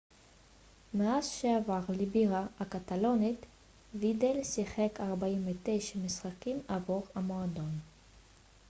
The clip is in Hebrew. מאז שעבר לבירה הקטלונית וידל שיחק 49 משחקים עבור המועדון